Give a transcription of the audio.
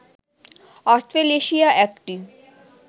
Australasia একটি